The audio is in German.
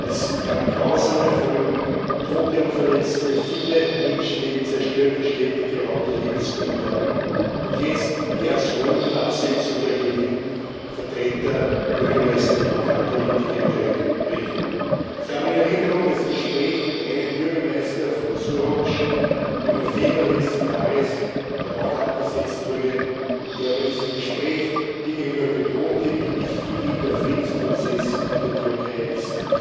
Es gab grausame Folgen Tote und Verletzte, viele Menschenleben, zerstörte Städte, geraubte Lebensgrundlagen, und jetzt wie als Hohn die Absetzung der gewählten Vertreter, Bürgermeister und Lokalpolitiker in der Region. Ich habe das Gespräch mit einem Bürgermeister von Suruç vom November letzten Jahres in Erinnerung, der auch abgesetzt wurde, und der bei diesem Gespräch mir gegenüber betonte, wie wichtig ihm der Friedensprozess in der Türkei ist.